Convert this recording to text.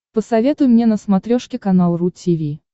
посоветуй мне на смотрешке канал ру ти ви